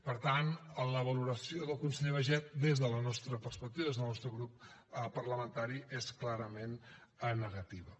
per tant la valoració del conseller baiget des de la nostra perspectiva des del nostre grup parlamentari és clarament negativa